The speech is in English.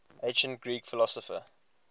ancient greek philosopher